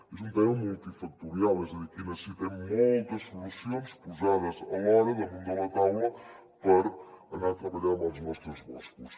és un tema multifactorial és a dir aquí necessitem moltes solucions posades alhora damunt de la taula per anar treballant en els nostres boscos